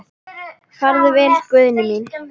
Farðu vel, Gunný mín.